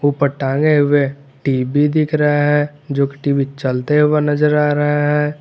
ऊपर टांगे हुए टी_वी दिख रहा है जो कि टी_वी चलते हुए नजर आ रहा है।